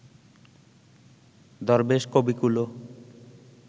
দরবেশ কবিকুলও